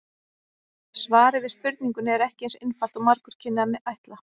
Svarið við spurningunni er ekki eins einfalt og margur kynni að ætla.